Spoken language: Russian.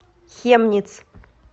хемниц